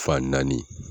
Fan naani